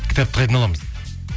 кітапты қайдан аламыз